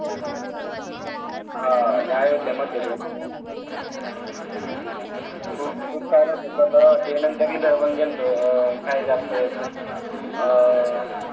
हां ते अयोध्या मध्यप्रदेश मध्ये गेलतो काय ते आपलं अं